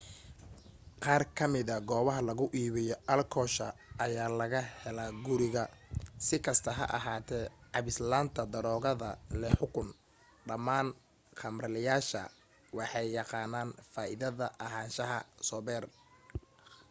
qaar kamida goobaha lagu iibiyo alkoosha ayaa laga helaa guriga.si kasta ha ahaatee cabis la'aanta daroogada leh xukun dhamaan khamaarleyaasha waxay yaqaanaan faaidada ahaanshaha sober